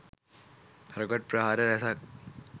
rocket ප්‍රහාර රැසක්